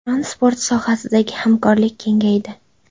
Transport sohasidagi hamkorlik kengaydi.